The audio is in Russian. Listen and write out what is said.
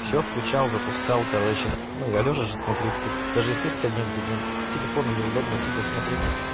всё включал запускал короче но я лёжа же смотрю тут даже и сесть то даже негде блин с телефона неудобно сидя смотреть